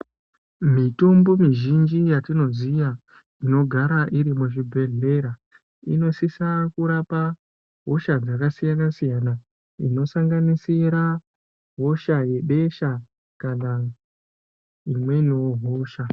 Mitombo mizhinji yatinoziya, inogara iri muzvibhedhlera, inosisa kurapa hosha dzakasiyana-siyana, inosanganisira hosha yebesha, kana imweniwo hosha.